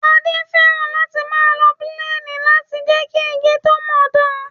Adé fẹ́ràn láti máa lo píléènì láti jẹ́ kí igi tó ń mọ dán